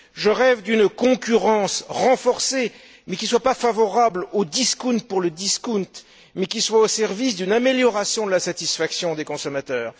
Je rêve d'une concurrence renforcée, qui ne soit pas favorable au discount pour le discount, mais qui soit au service d'une amélioration de la satisfaction des consommateurs.